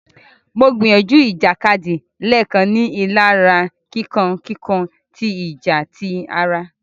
Mo gbìyànjú ìjàkadì léèkan, ní rilara kíkàn kíkàn tí ìjà tí àrà.